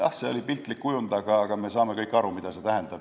Jah, see oli piltlik kujund, aga me saame kõik aru, mida see tähendab.